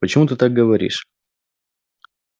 почему ты так говоришь